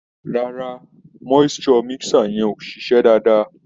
Rárá, moisture mixer yẹn ò ṣiṣẹ́ dáadáa.